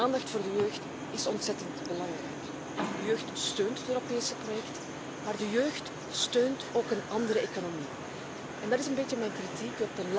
Uw aandacht voor de jeugd is ontzettend belangrijk. De jeugd steunt het Europese project, maar ze steunt ook een andere economie en dat is een beetje mijn kritiek.